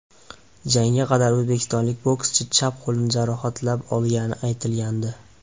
Jangga qadar o‘zbekistonlik bokschi chap qo‘lini jarohatlab olgani aytilgandi.